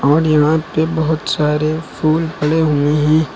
और यहां पे बहुत सारे फूल पड़े हुए हैं।